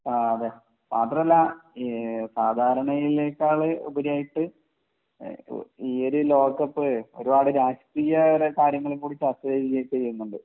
ആഹ് അതെ മാത്രമല്ല സാധാരണയെക്കാൾ ഉപരിയായിട്ട് ഈ ഒരു ലോക കപ്പ് ഒരുപാട് രാഷ്ട്രീയ കാര്യങ്ങൾ കൂടി ചർച്ച ചെയ്യുന്നുണ്ട്